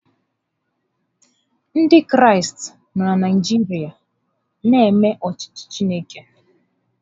Ndị Kraịst nọ na Naịjirịa na-eme ọchịchị Chineke